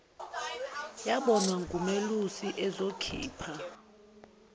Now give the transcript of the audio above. yabonwa ngumelusi ezokhipha